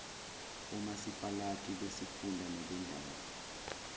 omasipalati besifunda nebendawo